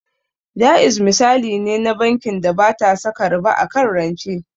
Jaiz misali ne na bankin da bata saka riba akan rance